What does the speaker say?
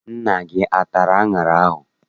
Nna gị atara aṅara ahụ?